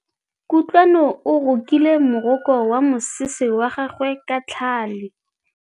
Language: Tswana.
Kutlwanô o rokile morokô wa mosese wa gagwe ka tlhale.